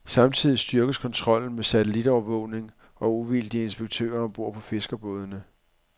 Samtidig styrkes kontrollen med satellitovervågning og uvildige inspektører om bord på fiskerbådene.